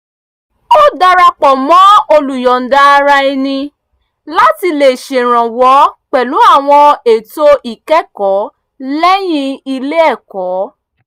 ó dara pọ̀ mọ́ olùyọ̀nda-ara-ẹni láti lè ṣèrànwọ́ pẹ̀lú àwọn ètò ìkẹ́kọ̀ọ́ lẹ́yìn ilé ẹ̀kọ́